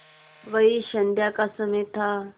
वही संध्या का समय था